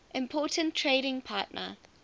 important trading partner